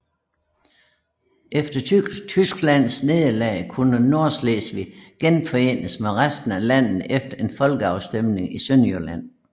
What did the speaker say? Efter Tysklands nederlag kunne Nordslesvig genforenes med resten af landet efter en folkeafstemning i Sønderjylland